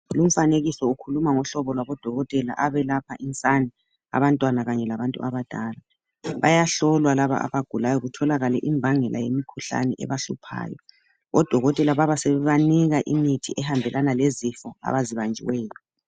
Lumfanekiso ukhulama ngohlobo lwabadokotela abelapha insane abantwana kanye labantu abadala. Bayahlolwa laba abagulayo kutholakale imbangela yemikhuhlane ebahluphayo. Odokotela baba sebebanika imithi ehambelana lezifo abazibanjiweyo.